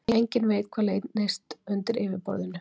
Enginn veit hvað leynist undir yfirborðinu